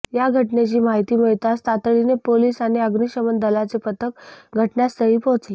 या घटनेची माहिती मिळताच तातडीने पोलीस आणि अग्निशमन दलाचे पथक घटनास्थळी पोहोचले